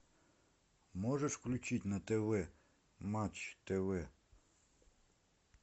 можешь включить на тв матч тв